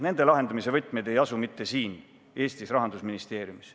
Nende lahendamise võtmed ei asu mitte siin, Eestis, Rahandusministeeriumis.